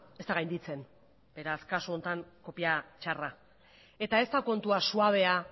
ez da gainditzen beraz kasu honetan kopia txarra eta ez da kontua suabea